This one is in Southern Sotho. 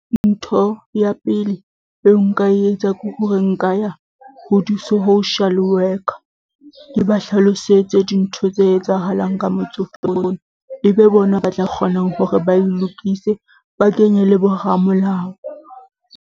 Ntho ya pele eo nka e etsa ke hore nka ya ho di-Social Worker ke ba hlalosetse dintho tse etsahalang ka motsofe e be bona ba tla kgonang hore ba e lokise, ba kenye le boramolao.